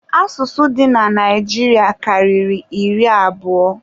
Asụsụ dị na Naijiria karịrị iri abụọ